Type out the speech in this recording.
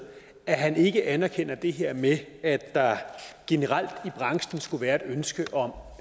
at han ikke anerkender det her med at der generelt i branchen skulle være et ønske om